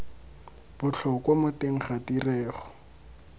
botlhokwa mo teng ga tirego